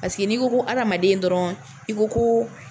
Paseke n'i ko ko adamaden dɔrɔn i ko ko